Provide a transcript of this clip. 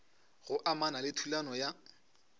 go amana le thulano ya